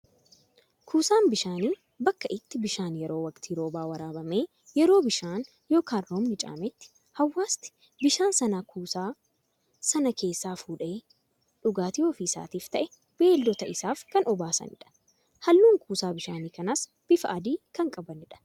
Kuusaan bishaanii, bakka itti bishaan yeroo waktii roobaa waraabamee yeroo bishaan yookaan roobni caametti hawaasti bishaan sana kuusaa sana keessaa fuudhee dhugaatii ofii isaafis ta'ee beeyiladoota isaaf kan obaasanidha. Halluun kuusaa bishaanii kanaas bifa adii kan qabanidha.